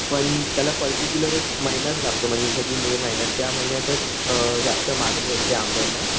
पण त्याला पर्टिक्युलर एक महिनाच लागतो म्हणजे जसं की मे महिना त्या महिन्यातच अ जास्त मागणी असते आंब्यांना